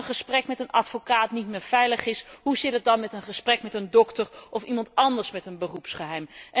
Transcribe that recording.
Als een gesprek met een advocaat niet meer veilig is, hoe zit het dan met een gesprek met een dokter, of iemand anders met een beroepsgeheim?